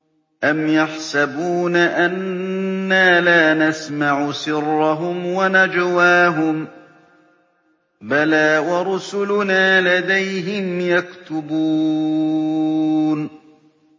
أَمْ يَحْسَبُونَ أَنَّا لَا نَسْمَعُ سِرَّهُمْ وَنَجْوَاهُم ۚ بَلَىٰ وَرُسُلُنَا لَدَيْهِمْ يَكْتُبُونَ